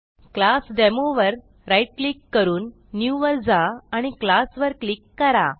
class demo वर right click करून new वर जा आणि क्लास वर क्लिक करा